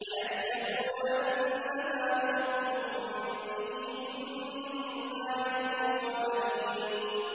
أَيَحْسَبُونَ أَنَّمَا نُمِدُّهُم بِهِ مِن مَّالٍ وَبَنِينَ